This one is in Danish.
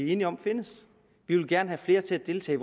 enige om findes vi vil gerne have flere til at deltage